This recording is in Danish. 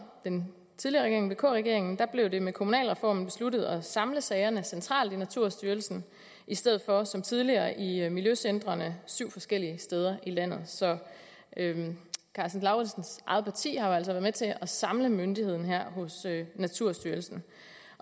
den tidligere regering vk regeringen blev det med kommunalreformen besluttet at samle sagerne centralt i naturstyrelsen i stedet for som tidligere i miljøcentrene der syv forskellige steder i landet så herre karsten lauritzens eget parti har jo med til at samle myndigheden hos naturstyrelsen